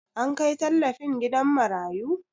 An kai tallafin gidan marayu?